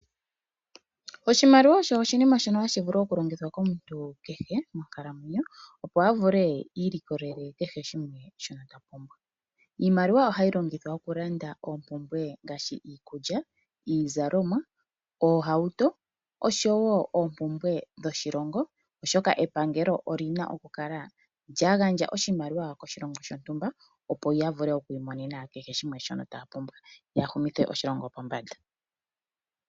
Oshimaliwa osho oshinima shono hashi vulu oku longithwa komuntu kehe monkalamwenyo. Opo a vule ilikolele kehe shimwe ta pumbwa. Iimaliwa ohayi longithwa oku landa oompumbwe ngaashi iikulya, iizalomwa, iihawuto oshowo oompumbwe dhoshilongo. Oshoka epangelo olina oku kala lya gandja oshimaliwa koshilongo shontumba ya vule oku mona kehe shimwe taya pumbwa yoya humithe oshilongo pombanda.